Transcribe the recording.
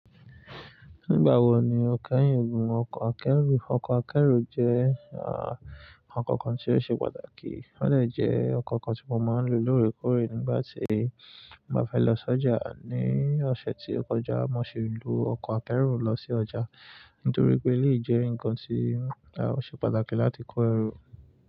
Nígbà wo ni ó kẹ́yìn, gùn ọkọ̀ akẹ́rù, ọkọ̀ akẹ́rù jẹ́ à, oko kan tí ó ṣe pàtàkì, ó de jẹ́ oko kan tí mo máa ń lo lóòrèkóòrè nígbà tí mo bá fẹ́ lọ sọ́jà. Ni ọ̀sẹ̀ tí ó kọjá, mo ṣi lo ọkọ̀ akẹ́rù lọ sí ọjà nítorí pé elèyi jẹ́ ǹkan tí a ó ṣe pàtàkì láti kó ẹrù.